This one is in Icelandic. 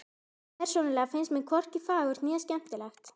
Persónulega finnst mér hvorki fagurt né skemmtilegt.